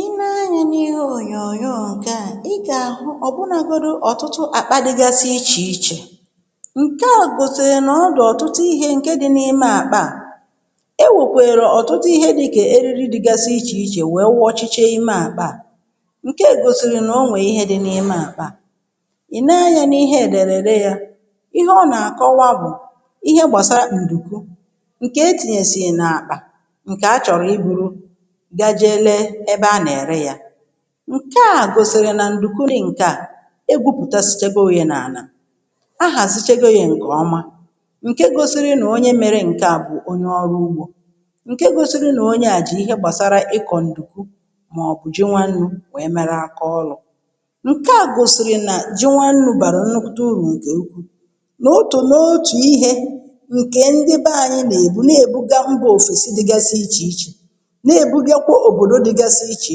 Ị nee anyȧ n’ihe ònyònyo ǹkè a, ị gà-àhụ ọ̀bụnȧgȯdụ ọ̀tụtụ àkpa dịgasi ichè ichè, ǹke à gòsìrì nà ọ dị̀ ọ̀tụtụ ihė ǹke dị̇ n’ime àkpa à. E wèkwèrè ọ̀tụtụ ihe dị̇kà eriri dịgasi ichè ichè wèe wọchịchė imė àkpa à, ǹke gòsìrì n’onwè ihe dị n’ime àkpa à.Ị nee anyȧ n’ihe èdèrèrè ya, ihe ọ nà-àkọwa bụ̀ ihe gbàsaàrà nke etinyesi n’akpa, nke a chọrọ iburu je lee n’ebe a nà-ère ya. Ṅke a gòsìrì nà ǹdùkwu nị̀ ǹke a egwupùta sịchago ya n’àlà, ahàzịchego yȧ ǹkè ọma, ǹke gòsiri nà onye mere ǹke a bụ̀ onye ọrụ ugbȯ, ǹke gòsiri nà onye à jì ihe gbàsara ịkọ̀ ǹdùkwu màọbụ̀ ji nwannu̇ nwèe mere akaọlụ̇. Ṅke a gòsiri nà ji nwannu̇ bàrà nnukwute urù ǹkè ukwùu. N’otù n’otù ihe ǹkè ndị be ànyị nà-èbu na-èbụga mbụ̇ òfèsi dịgasị iche iche, na-èbugakwa òbòdo dịgasi ichè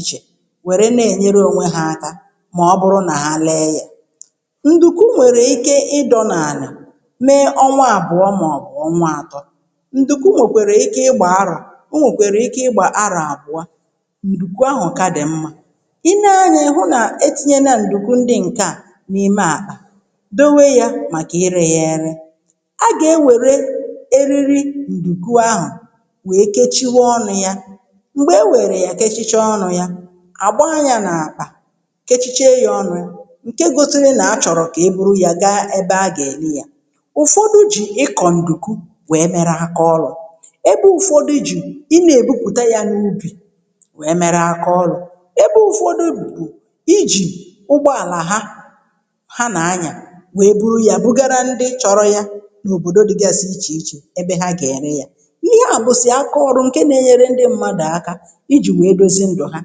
ichè, wère na-ènyere ònwe ha aka mà ọ bụrụ nà ha lee ya. Nduku nwèrè ike ịdọ n’àlà mee ọnwa àbụọ màọ̀bụ̀ ọnwa àtọ, nduku nwèkwara ike ịgbà arọ̀, ọ nwèkwèrè ike ịgbà arọ̀ àbụọ, ndùkwu ahụ̀ ka dì mmȧ. Ị nee anyȧ ịhụ nà etinye na ndùkwu ndị ǹke à n’ime akpa, dòwe yȧ màkà ịrė yȧ ere. A a gà-ewère eriri ndùkwu ahụ̀we kechie ọnụ ya, m̀gbè e wèrè ya kechiche ọnụ̇ ya àgba yȧ n’àkpà kechiche yȧ ọnụ̇, ǹke gosịri na-achọ̀rọ̀ kà e bụrụ yȧ gaa ebe a gà-ère ya. Ụfọdụ jì ịkọ̀ ǹdùkwu wèe mere aka ọlụ, ebe ụfọdụ jì ị na-èbupùta ya n’ubì wèe mere aka ọlọụ, ebe ụfọdụ bụ̀ ijì ụgbọàlà ha, ha nà-anyà wèe buru ya bugara ndị chọrọ ya n’òbòdo dịgasi ichè ichè, ebe ha gà-ère ya. Ịhe a bụsi aka ọrụ nke na enyere ndị mmadu aka, iji̇ wèe dozi ndụ̀ ha,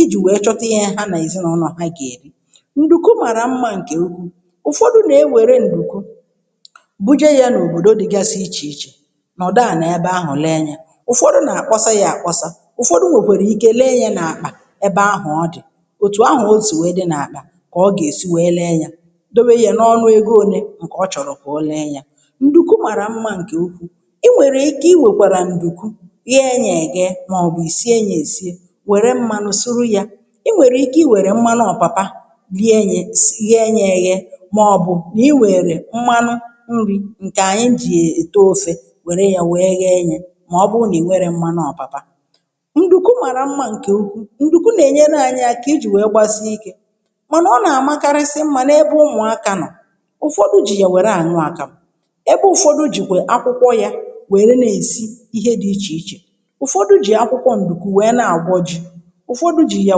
ijì wèe chọta ihė ha nà èzinụ̇nọ̀ ha gà-èri. Ndùku màrà mmȧ ǹkè ukwuù; ụfọdụ nà e wère ǹdùku, búje ya n’òbòdo dị̇gasị ichè ichè nọ̀dụ ànà ebe ahụ̀ lee yȧ, ụfọdụ nà àkpọsa yȧ àkpọsa, ụfọdụ nwèkwàrà ike lee yȧ n’àkpà ebe ahụ̀ ọ dị̀, òtù ahụ̀ o sì wee dị n’àkpà kà ọ gà-èsi wee lee yȧ, dewe yȧ n’ọnụ ego ole ǹkè ọ chọ̀rọ̀ kà ọ lee yȧ. Ṅdùku màrà mmȧ ǹkè ukwuù; i nwèkwara ike inwere nduku nye ya enye, maọbụ sie ya esi, wère mmanụ suru yȧ, i nwèrè ike i wère mmanụ ọ̀papa nyė ye, sss nye ye enye màọbụ̇ i wère mmanụ nri̇, ǹkè ànyị jì ète ofė, wère yȧ wèe nye yė màọbụrụ nà ịnwerọ mmanụ ọ̀pàpa. Ṅdùku màrà mmȧ ǹkè ukwuu; ǹdùku nà ènyere anyị akà ijì wèe gbàsịe ikė mànà ọ nà àmakarịsị mmȧ nà ebe ụmụ̀ aka nọ. Ụfọdụ jì ya wère ànụ akȧmụ, ebe ụ̀fọdụ jì kwè akwụkwọ yȧ wère na-èsi ihe dị̇ ichè iche. Ụfodu ji akwukwọ ǹdùku wee na agwọ ji. Ụfọdụ jì yà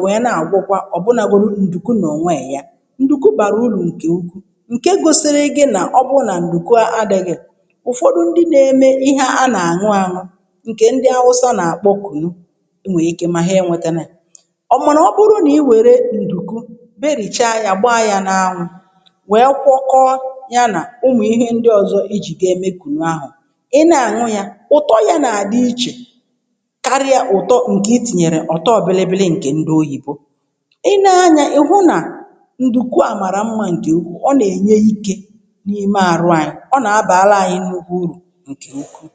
nwèe na-àgwọkwa ọ̀bụnȧgodụ ǹdùku n’ọ̀nwèè ya. Ṅdùku bàrà urù ǹkè ukwuU, ǹke gosiri gị nà ọ bụrụ nà ǹdùku adị̇ghị̇, ụ̀fọdụ ndị na-eme ihe ha n’àñụ àñụ, ǹkè ndị awụsa nà-àkpọ ‘ kunu̇’ o nwèè ike mà ha enwetenè. Ọ bụkwa nà ọ bụrụ nà i wère ǹdùku, berìchaa ya, gbaa ya n’anwụ, wèe kwọkọọ ya nà umù ihe ndị ọ̀zọ ijì ga-emekùnụ ahụ̀, ị na-àñụ ya, ụ̀tọ ya nà àdị ichè, karia ụtọ itinyere ọ̀tọọ bịlịbịlị ǹkè ndị oyìbo. Ị nee anyȧ ị̀hụ nà ndùkwu a màrà mmȧ ǹke ukwuu, ọ nà-ènye ikė n’ime àrụ anyị. ọ nà-abàla anyị nnukwu urù ǹkè ukwuu.